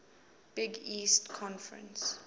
big east conference